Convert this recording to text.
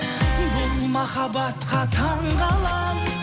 бұл махабатқа таңғаламын